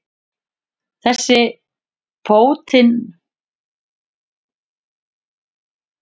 Þessir pótintátar eru engin lömb að leika sér við og þú getur ekkert farið.